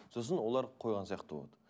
сосын олар қойған сияқты болады